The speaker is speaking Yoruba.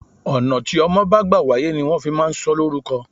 Ọ̀nà tí ọmọ bá gbà wáyé ni wọn fi máa ń sọ ó lórúko.